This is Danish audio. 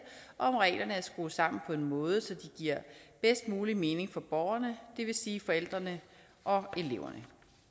om reglerne er skruet sammen på en måde så de giver bedst mulig mening for borgerne det vil sige forældrene og eleverne